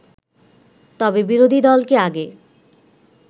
তবে বিরোধী দলকে আগে